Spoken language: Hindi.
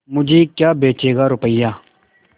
मुझे क्या बेचेगा रुपय्या